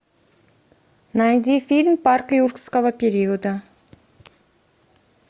найди фильм парк юрского периода